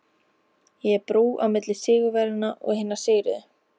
Ég er brú á milli sigurvegaranna og hinna sigruðu.